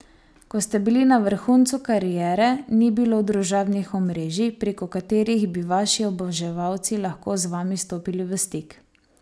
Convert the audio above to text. Ko ste bili na vrhuncu kariere, ni bilo družabnih omrežij, preko katerih bi vaši oboževalci lahko z vami stopili v stik.